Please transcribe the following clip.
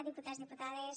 diputats diputades